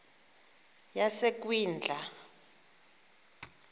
yasekwindla